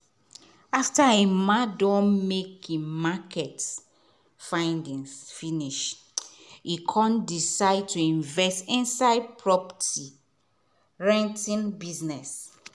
after emma don make him market findings finish e come decide to invest inside property renting business.